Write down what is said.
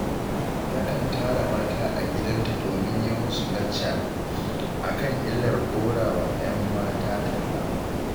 Takan tara mata a gidanta domin yi musu lacca a kan illar ɗora wa 'yan mata talla